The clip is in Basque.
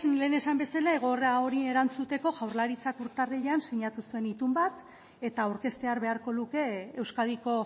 lehen esan bezala egoera horri erantzuteko jaurlaritzak urtarrilean sinatu zuen itun bat eta aurkeztear beharko luke euskadiko